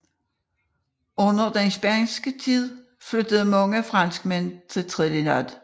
Under den spanske tid flyttede mange franskmænd til Trinidad